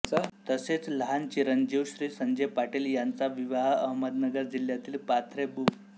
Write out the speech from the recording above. तसेच लहान चिरंजीव श्री संजय पाटील यांचा विवाह अहमदनगर जिल्ह्यातील पाथरे बु